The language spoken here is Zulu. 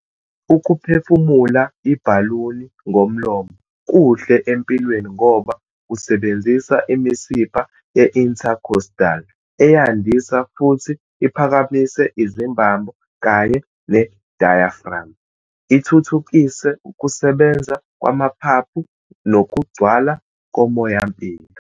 Ukuphefumula ibhaluni ngomlomo kuhle empilweni ngoba kusebenzisa imisipha ye-intercostal, eyandisa futhi iphakamise izimbambo kanye ne-diaphragm, ithuthukise ukusebenza kwamaphaphu nokugcwala komoyampilo.